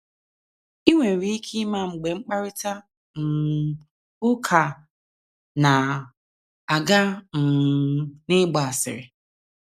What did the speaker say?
I nwere ike ịma mgbe mkparịta um ụka na - aga um n’ịgba asịrị.